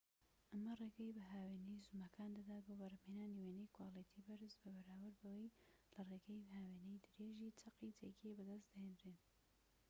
ئەمە ڕێگەی بە هاوێنەی زوومەکان دەدات بۆ بەرهەمهێنانی وێنەی کواڵیتی بەرزی بەراورد بەوەی لە ڕێگەی هاوێنەی درێژیی چەقی جێگیر بەدەست دەهێنرێن